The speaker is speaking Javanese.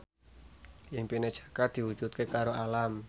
impine Jaka diwujudke karo Alam